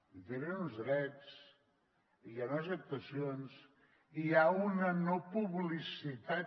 i tenen uns drets i hi ha unes actuacions i hi ha una no publicitat